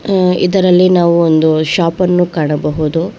ಅ ಇದರಲ್ಲಿ ನಾವು ಒಂದು ಶಾಪ್ ಅನ್ನು ಕಾಣಬಹುದು.